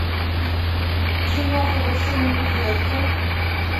киноха властелин любви открой